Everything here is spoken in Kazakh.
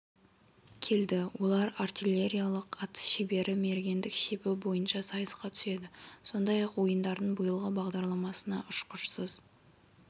келді олар артиллериялық атыс шебері мергендік шебі бойынша сайысқа түседі сондай-ақ ойындардың биылғы бағдарламасына ұшқышсыз